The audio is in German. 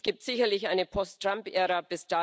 Es gibt sicherlich eine Post Trump Ära.